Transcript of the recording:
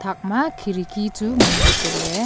thakka khidki chu nganla tailey.